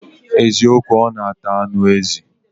Eziokwu, o n ata anu ezi